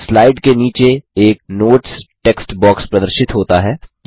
slide के नीचे एक नोट्स टेक्स्ट बॉक्स प्रदर्शित होता है